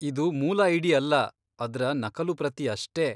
ಇದು ಮೂಲ ಐಡಿ ಅಲ್ಲ, ಅದ್ರ ನಕಲು ಪ್ರತಿ ಅಷ್ಟೇ.